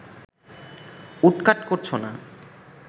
woodcut করছ না